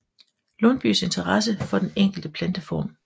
Lundbyes interesse for den enkelte planteform